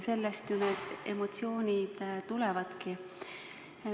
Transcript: Sellest ju need emotsioonid tulevadki.